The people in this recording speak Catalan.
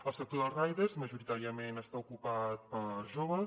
el sector dels riders majoritàriament està ocupat per joves